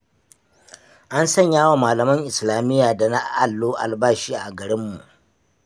An sanyawa malaman islamiyya da na allo albashi a garinmu.